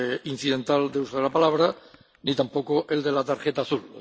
incidental de uso de la palabra ni tampoco el de la tarjeta azul.